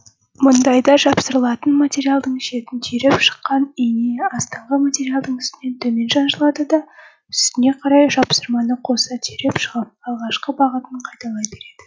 мұндайда жапсырылатын материалдың шетін түйреп шыққан иін астыңғы материалдың үстінен төмен шаншылады да үстіне қарай жапсырманы қоса түйреп шығып алғашқы бағытын қайталай береді